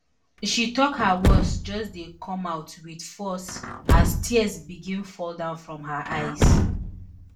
she tok her words just dey come out wit force as tears begin fall down from her eyes